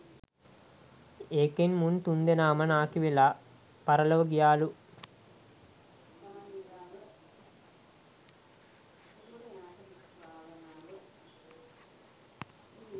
එකෙන් මුන් තුන්දෙනාම නාකි වෙලා පරලොව ගියාලු